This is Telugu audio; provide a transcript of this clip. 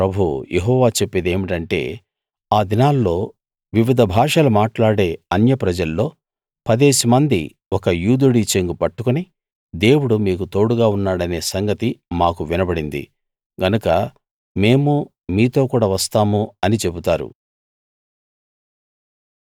సేనల ప్రభువు యెహోవా చెప్పేదేమిటంటే ఆ దినాల్లో వివిధ భాషలు మాట్లాడే అన్యప్రజల్లో పదేసిమంది ఒక యూదుడి చెంగు పట్టుకుని దేవుడు మీకు తోడుగా ఉన్నాడనే సంగతి మాకు వినబడింది గనక మేము మీతో కూడా వస్తాము అని చెబుతారు